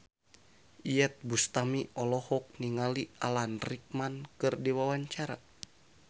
Iyeth Bustami olohok ningali Alan Rickman keur diwawancara